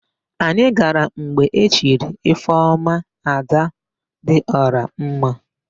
Anyị gara mgbe e chiri Ifeọma, Adadịọramma.